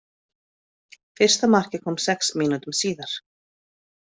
Fyrsta markið kom sex mínútum síðar.